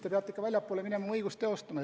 Te peate ikka väljapoole minema oma õigust teostama.